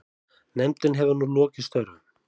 Nefndin hefur nú lokið störfum.